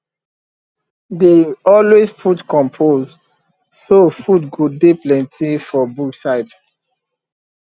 dey always put compost so food go dey plenty for bush side